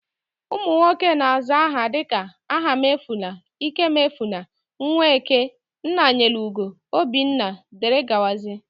ụmụnwoke na-aza aha dika Ahamefula, ikemefula, Nweke, Nnanyelugo, obinna wdg